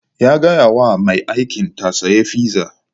Ya gaya wa mai aikin ta sayi fizza